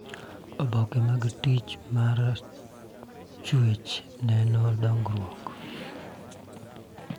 Oboke mag tich mar chuech neno dongruok